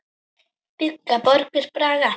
Byggja borgir bragga?